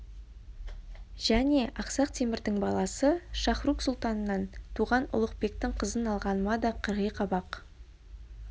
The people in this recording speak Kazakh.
және ақсақ темірдің баласы шахрук сұлтаннан туған ұлықбектің қызын алғаныма да қырғи-қабақ